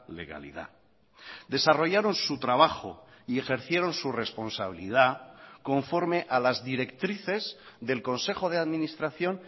legalidad desarrollaron su trabajo y ejercieron su responsabilidad conforme a las directrices del consejo de administración